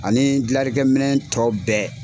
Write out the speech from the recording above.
Ani dilalikɛ minɛ tɔ bɛɛ.